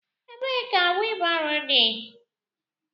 Ebee ka wheel barrow dị?